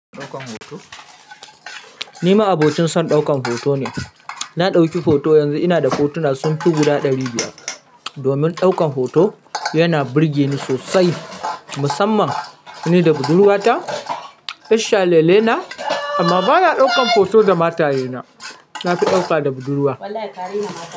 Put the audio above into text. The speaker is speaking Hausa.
Ni ma abocin son daukan hoto ne. Na dauki hoto, yanzu ina da hotuna sun fi guda ɗari biyar. Domin daukan hoto yana burge ni sosai, musamman ni da budurwata. Ishan lele na amma ba na daukan hoto da mataye na. Na fi dauka da budurwa.